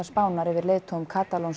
Spánar yfir leiðtogum